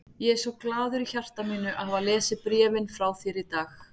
Ég er svo glaður í hjarta mínu að hafa lesið bréfin frá þér í dag.